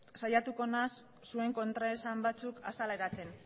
saiatuko naiz zuen kontraesan batzuk azaleratzen